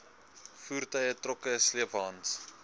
voertuie trokke sleepwaens